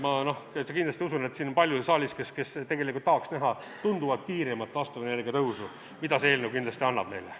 Ma täitsa kindlasti usun, et siin saalis on palju neid, kes tegelikult tahaks näha tunduvalt kiiremat taastuvenergia tõusu, mida see eelnõu kindlasti annab meile.